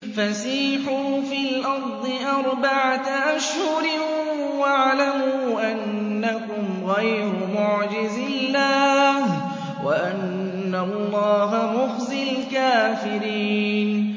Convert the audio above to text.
فَسِيحُوا فِي الْأَرْضِ أَرْبَعَةَ أَشْهُرٍ وَاعْلَمُوا أَنَّكُمْ غَيْرُ مُعْجِزِي اللَّهِ ۙ وَأَنَّ اللَّهَ مُخْزِي الْكَافِرِينَ